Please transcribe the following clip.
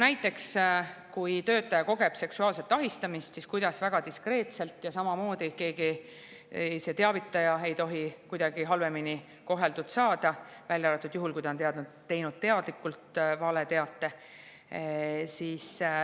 Näiteks siis, kui töötaja kogeb seksuaalset ahistamist, tuleb seda teemat väga diskreetselt käsitleda, sel juhul samamoodi ei tohi teavitaja kuidagi halvemini koheldud saada, välja arvatud juhul, kui ta on teadlikult teinud valeteate.